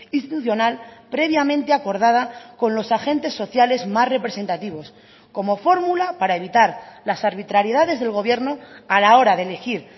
institucional previamente acordada con los agentes sociales más representativos como fórmula para evitar las arbitrariedades del gobierno a la hora de elegir